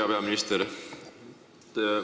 Hea peaminister!